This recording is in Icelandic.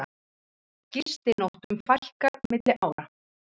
Gistinóttum fækkar milli ára